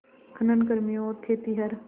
खनन कर्मियों और खेतिहर